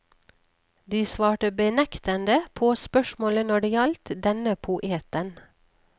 De svarte benektende på spørsmålet når det gjaldt denne poeten.